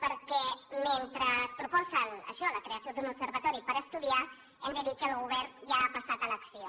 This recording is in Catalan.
perquè mentre proposen això la creació d’un observatori per estudiar hem de dir que el govern ja ha passat a l’acció